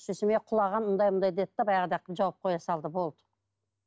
сосын құлаған мұндай мұндай деді де баяғыда ақ жауып қоя салды болды